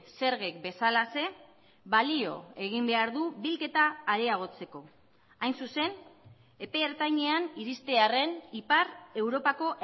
zergek bezalaxe balio egin behar du bilketa areagotzeko hain zuzen epe ertainean iristearren ipar europako